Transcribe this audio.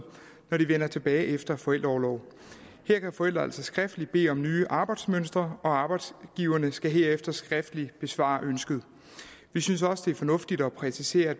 når de vender tilbage efter forældreorlov her kan forældre altså skriftligt bede om nye arbejdsmønstre og arbejdsgiverne skal herefter skriftligt besvare ønsket vi synes også det er fornuftigt at præcisere at